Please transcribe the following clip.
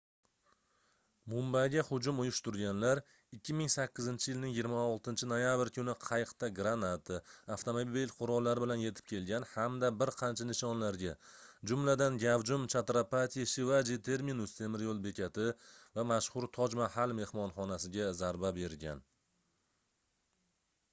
mumbayga hujum uyushtirganlar 2008-yilning 26-noyabr kuni qayiqda granata avtomat qurollari bilan yetib kelgan hamda bir qancha nishonlarga jumladan gavjum chatrapati shivaji terminus temir yoʻl bekati va mashhur toj mahal mehmonxonasiga zarba bergan